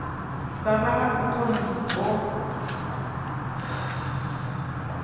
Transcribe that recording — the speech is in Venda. vha vha na vhukoni ho